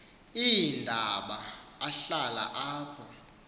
iindaba ahlala apho